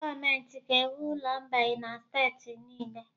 Gọọmenti ga-ewu ụlọ mgbei na steeti niile